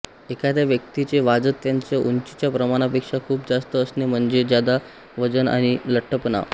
एखाद्या व्यक्तीचे वाजत त्याच्या उंचीच्या प्रमाणापेक्षा खूप जास्त असणे म्हणजे जादा वजन आणि लट्ठपणा